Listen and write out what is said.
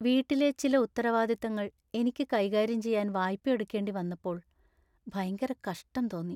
വീട്ടിലെ ചില ഉത്തരവാദിത്തങ്ങൾ എനിക്ക് കൈകാര്യം ചെയ്യാൻ വായ്പയെടുക്കേണ്ടി വന്നപ്പോൾ ഭയങ്കര കഷ്ടം തോന്നി.